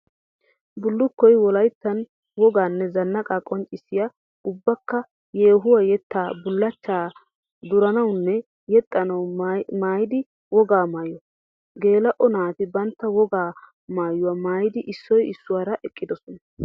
Bulukkoy wolayttan wogaanne zanaaqa qonccissiya ubbakka yeehuwa, yetta, bulachcha, duranawunne yexxanawu maaddiya wogaa maayo. Geela'o naati bantta wogaa maayuwa maayidi issoy issuwaara eqqidosna.